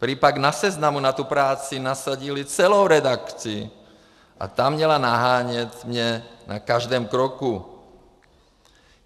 Prý pak na Seznamu na tu práci nasadili celou redakci a ta měla nahánět mě na každém kroku.